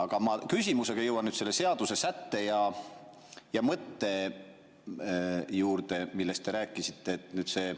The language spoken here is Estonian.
Aga ma küsimusega jõuan selle seaduse sätte ja mõtte juurde, millest te rääkisite.